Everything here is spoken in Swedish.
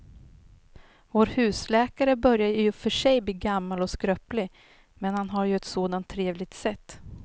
Vår husläkare börjar i och för sig bli gammal och skröplig, men han har ju ett sådant trevligt sätt!